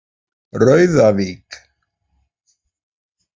Rauðavík